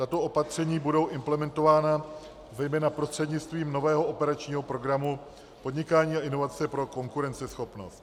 Tato opatření budou implementována, zejména prostřednictvím nového operačního programu Podnikání a inovace pro konkurenceschopnost.